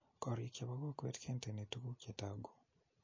Koriik che bo kokwee kenteni tukuk che toguu.